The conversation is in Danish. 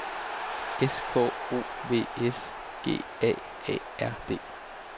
S K O V S G A A R D